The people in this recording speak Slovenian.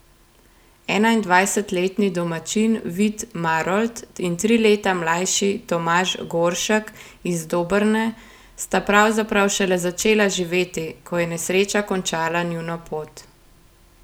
Enaindvajsetletni domačin Vid Marolt in tri leta mlajši Tomaž Goršek iz Dobrne sta pravzaprav šele začela živeti, ko je nesreča končala njuno pot.